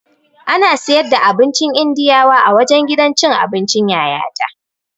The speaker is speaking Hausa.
Ana siyar da abincin Indiyawa a wajen gidan cin abincin Yayata